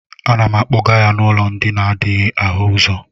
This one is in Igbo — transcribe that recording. A na m akpọga ya n'ụlọ ndi n'adịghị áhù ụzọ